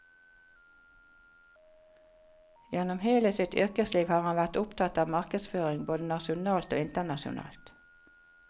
Gjennom hele sitt yrkesliv har han vært opptatt av markedsføring både nasjonalt og internasjonalt.